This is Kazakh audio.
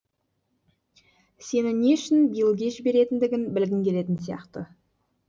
сені не үшін биллге жіберетіндігін білгің келетін сияқты